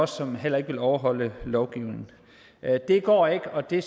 som heller ikke vil overholde lovgivningen det går ikke og det